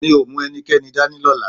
Mi ò mú ẹnikẹ́ni dání lọ́la